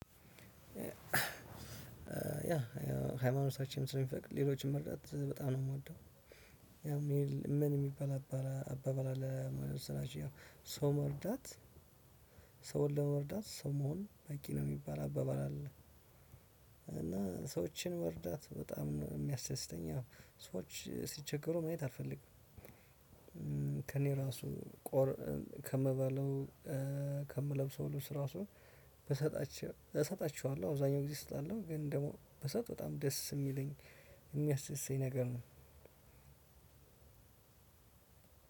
ያ ሃይማኖታችንም ስለምፈቅድ ሌሎችን መርዳት በጣም ነው የምወደው። ያው- ምን የሚበላበል አባባል አለ መሰላችሁ ሰው መርዳት ሰውን ለመርዳት ሰው መሆን በቂ ነው የሚባል አባባል አለ። እና ሰዎችን መርዳት በጣም ነው የሚያስደተኝ ሰዎች ሲቸገሩ ማየት አልፈልግም። ከእኔ ራሱ ከምባለው ከምለብሰው ልብስ ራሱ ብሰጣቸው እሰጣቸዋለሁ። አብዛኛውን ጊዜ እሰጣለሁ። ግን ደግሞ ብሰጥ በጣም ደስ የሚለኝ የሚያስደስተኝ ነገር ነው።